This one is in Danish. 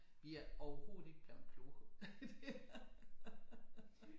Vi er overhovedet ikke blevet klogere